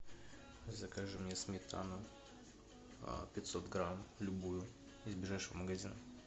закажи мне сметану пятьсот грамм любую из ближайшего магазина